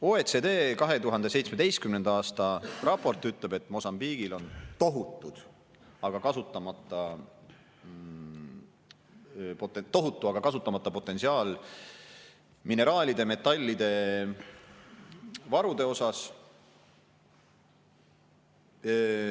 OECD 2017. aasta raport ütleb, et Mosambiigis on tohutu, aga kasutamata potentsiaal mineraalide ja metallide varude poolest.